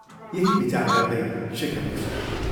" यही विचार गर्दै शेखर निस्क्यो।